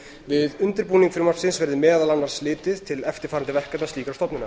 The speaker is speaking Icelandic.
við undirbúning frumvarpsins verði meðal annars litið til eftirfarandi verkefna slíkrar stofnunar